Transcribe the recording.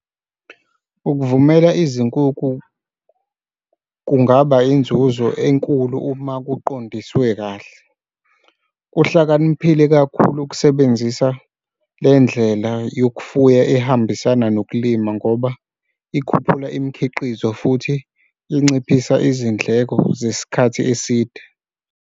Ukuvumela izinkukhu kungaba inzuzo enkulu uma kuqondiswe kahle. Kuhlakaniphile kakhulu ukusebenzisa le ndlela yokufuya ehambisana nokulima ngoba ikhuphula imikhiqizo futhi inciphisa izindleko zesikhathi eside.